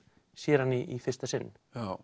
sér hann í fyrsta sinn